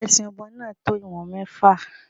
Ẹ̀sẹ̀ ọmọ náà tó ìwọ̀n mẹ́fà.